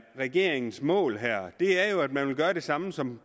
regeringens mål her er jo at man vil gøre det samme som